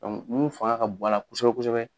min fanga ka bon a la kosɛbɛ kosɛbɛ